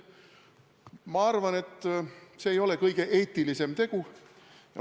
Ma arvan, et see ei ole kõige eetilisem tegu.